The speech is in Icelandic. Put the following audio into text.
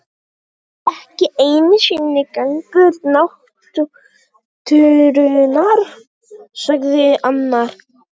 Ekki einu sinni gangur náttúrunnar sagði annar.